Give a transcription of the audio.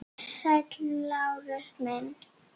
Sæll, Lárus minn.